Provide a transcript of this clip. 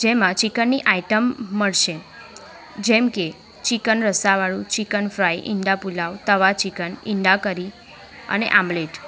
જેમાં ચિકન ની આઈટમ મળશે જેમ કે ચિકન રસાવાળું ચિકન ફ્રાય ઈંડા પુલાવ તવા ચિકન ઈંડા કરી અને આમલેટ.